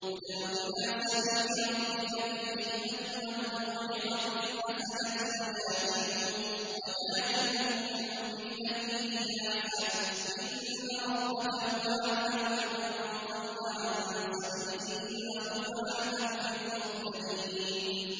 ادْعُ إِلَىٰ سَبِيلِ رَبِّكَ بِالْحِكْمَةِ وَالْمَوْعِظَةِ الْحَسَنَةِ ۖ وَجَادِلْهُم بِالَّتِي هِيَ أَحْسَنُ ۚ إِنَّ رَبَّكَ هُوَ أَعْلَمُ بِمَن ضَلَّ عَن سَبِيلِهِ ۖ وَهُوَ أَعْلَمُ بِالْمُهْتَدِينَ